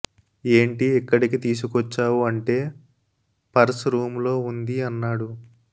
ఏంటి ఇక్కడికి తీసుకొచ్చావు అంటే పర్స్ రూమ్ లో ఉంది అన్నాడు